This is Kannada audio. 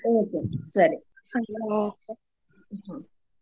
okay ಸರಿ ಹಾಗಿದ್ರೆ okay ಹ್ಮ.